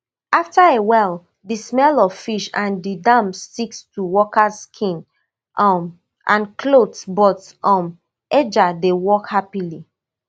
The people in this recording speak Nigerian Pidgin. afta a while di smell of fish and di damp sticks to workers skin um and clothes but um edgar dey work happily